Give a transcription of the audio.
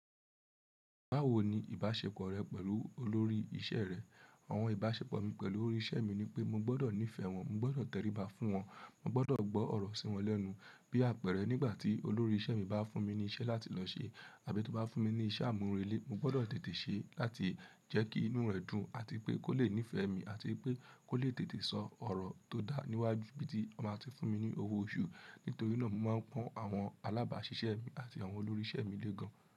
Báwo ni ìbáṣepọ̀ rẹ pẹ̀lú olórí iṣẹ́ rẹ? Àwọn ìbáṣepọ̀ mi pẹ̀lú olórí iṣẹ́ mi ni pé mo gbọdọ̀ nífẹ̀ẹ́ wọn, mo gbọdọ̀ tẹríba fún wọn, mo gbọdọ̀ gbọ́ ọ̀rọ̀ sí wọn lẹ́nu. Bí àpẹẹrẹ nígbà tí olórí iṣẹ́ mi bá fún mi ní iṣẹ́ láti lọ ṣe àbí tó bá fún mi ní iṣẹ́ amurele, mo gbọdọ̀ tètè ṣe é láti jẹ́ kí inú rẹ̀ dùn àti pé kó lè nífẹ̀ẹ́ mi àti pé kó lè tètè sọ ọ̀rọ̀ tó dá níwájú bí tí ó máa ti fún mi ní owó oṣù. Nítorí náà mo máa ń pọ́n àwọn alábàáṣiṣẹ́ mi àti àwọn olórí iṣẹ́ mi lé gan.